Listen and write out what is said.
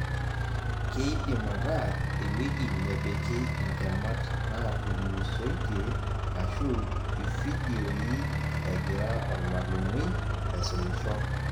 Keidim ataa ewueji nepiki intemat naatulusoitie ashu ifidioi egira ormallimui aisumisho